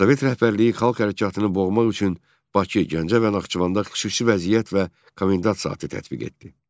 Sovet rəhbərliyi xalq hərəkatını boğmaq üçün Bakı, Gəncə və Naxçıvanda xüsusi vəziyyət və komendant saatı tətbiq etdi.